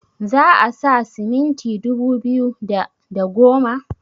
za a sa siminti dubu biyu da da goma